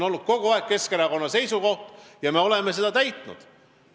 See on kogu aeg olnud Keskerakonna eesmärk ja me oleme seda täitnud.